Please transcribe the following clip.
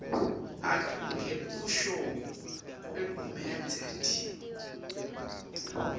ngekusho kwagumedze d